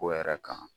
Ko yɛrɛ kan